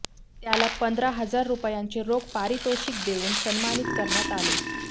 त्याला पंधरा हजार रुपयांचे रोख पारितोषिक देऊन सन्मानित करण्यात आले